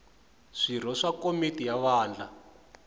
swirho swa komiti ya wadi